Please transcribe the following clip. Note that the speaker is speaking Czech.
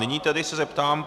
Nyní se tedy zeptám.